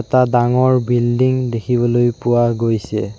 এটা ডাঙৰ বিল্ডিং দেখিবলৈ পোৱা গৈছে।